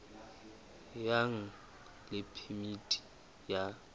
ya nang le phemiti ya